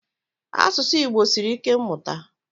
Asụsụ Igbo sịrị ike mmụta.